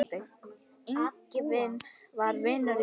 Ingvi var vinur í raun.